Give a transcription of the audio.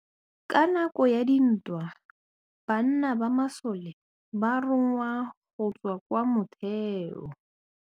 Ka nakô ya dintwa banna ba masole ba rongwa go tswa kwa mothêô.